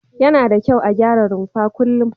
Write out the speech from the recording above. Yana da kyau a gyara rumfa kullum.